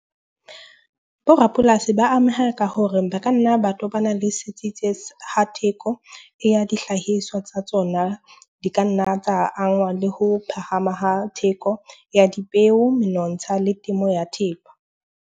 Bo rapolasi ba ameha ka hore ba ka nna ba tobana le ha theko ya dihlahiswa tsa tsona. Di ka nna tsa angwa le ho phahama ha theko ya dipeo, menontsha le temo ya thepa.